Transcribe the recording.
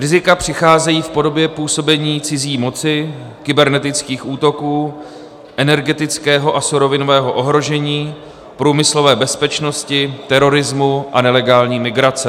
Rizika přicházejí v podobě působení cizí moci, kybernetických útoků, energetického a surovinového ohrožení, průmyslové bezpečnosti, terorismu a nelegální migrace.